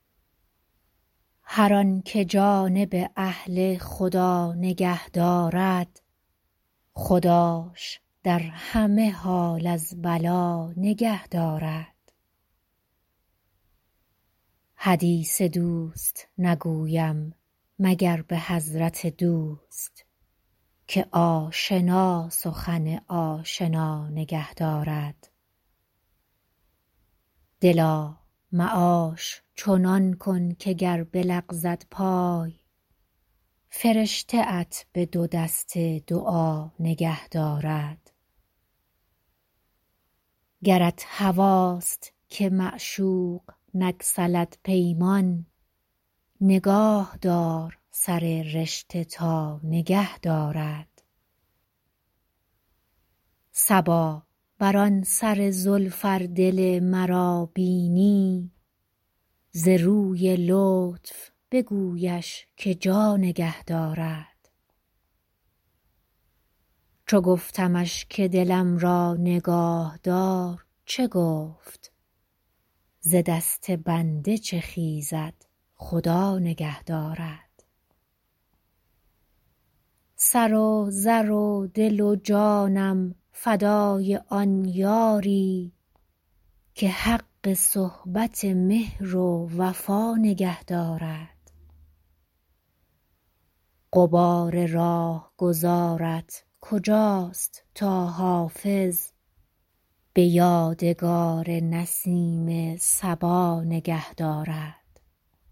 هر آن که جانب اهل خدا نگه دارد خداش در همه حال از بلا نگه دارد حدیث دوست نگویم مگر به حضرت دوست که آشنا سخن آشنا نگه دارد دلا معاش چنان کن که گر بلغزد پای فرشته ات به دو دست دعا نگه دارد گرت هواست که معشوق نگسلد پیمان نگاه دار سر رشته تا نگه دارد صبا بر آن سر زلف ار دل مرا بینی ز روی لطف بگویش که جا نگه دارد چو گفتمش که دلم را نگاه دار چه گفت ز دست بنده چه خیزد خدا نگه دارد سر و زر و دل و جانم فدای آن یاری که حق صحبت مهر و وفا نگه دارد غبار راهگذارت کجاست تا حافظ به یادگار نسیم صبا نگه دارد